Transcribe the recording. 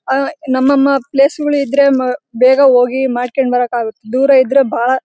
ಅಹ್ ನಮ್ಮಮ್ಮ ಪ್ಲೇಸಗಳು ಇದ್ರೆ ಬೇಗ ಹೋಗಿ ಮಾಡಕೊಂಡ್ ಬರಕಾಗುತ್ತೆ ದೂರಇದ್ರೆ ಬಹಳ್ --